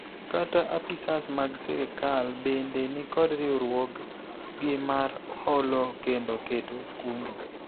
kata apisas mag sirikal bende nikod riwruog gi mar holo kendo keto kungo